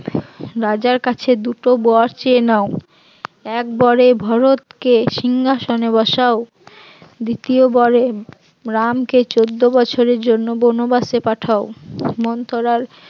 রাজার কাছে দুটো বর চেয়ে নাও, এক বরে ভরত কে সিংহাসনে বসাও, দ্বিতীয় বরে রামকে চৌদ্দ বছরের জন্য বনবাসে পাঠাও, মন্থরার